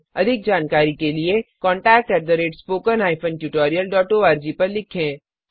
अधिक जानकारी के लिए contactspoken tutorialorg पर लिखें